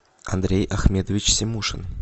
андрей ахметович симушин